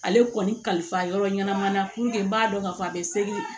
Ale kɔni kalifa yɔrɔ ɲɛnama na puruke n b'a dɔn k'a fɔ a bɛ seki